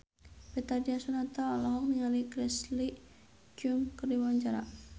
Betharia Sonata olohok ningali Leslie Cheung keur diwawancara